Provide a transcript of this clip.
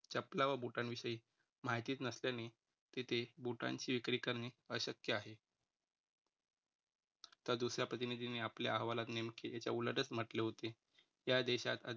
चपला व boot न विषयी माहितीच नसल्याने तिथे boot ची विक्री करणे अशक्य आहे. तर दुसऱ्या प्रतिनिधींनी आपल्या अहवालात नेमके याच्या उलटचं म्हटले होते. या देशात अद्यापर्यंत